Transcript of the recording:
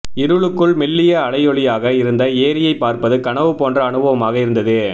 இருளுக்குள் மெல்லிய அலையொளியாக இருந்த ஏரியைப் பார்ப்பது கனவுபோன்ற அனுபவமாக இருந்தது